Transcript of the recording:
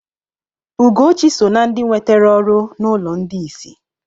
Ugochi so na ndị nwetere ọrụ n'ụlọ ndị isi.